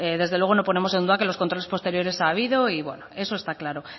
desde luego no ponemos en duda que los controles posteriores ha habido y bueno eso está claro